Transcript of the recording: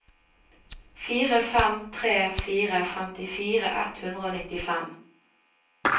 fire fem tre fire femtifire ett hundre og nittifem